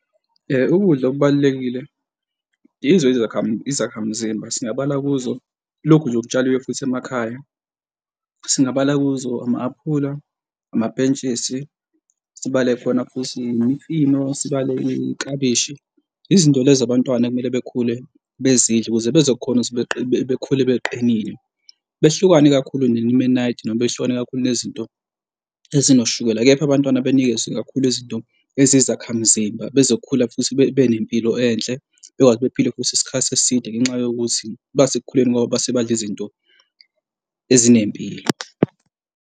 Ukudla okubalulekile izo, izakha, izakhamuzimba singabala kuzo, lokhu nje okutshaliwe futhi emakhaya, singabala kuzo, ama-aphula, amapentshisi sibale khona futhi imifino sibale iklabishi. Izinto lezi abantwana ekumele bekhule bezidle ukuze bezokhona bekhule kuqinile behlukene kakhulu nonemenadi noma, behlukene kakhulu nezinto ezinoshukela. Kepha abantwana benikezwe kakhulu izinto eziyizakha mzimba bezokhula futhi benempilo enhle bekwazi bephile futhi isikhathi eside ngenxa yokuthi bathe ekukhuleni kwabo base badla izinto ezinempilo.